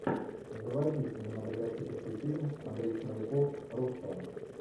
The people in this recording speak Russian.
заводи кинематографический фильм андрей смоляков русская